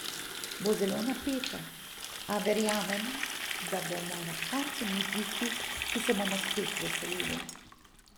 Bo zelo napeto, a verjamem, da bomo na koncu mi tisti, ki se bomo spet veselili.